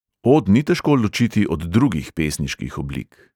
Od ni težko ločiti od drugih pesniških oblik.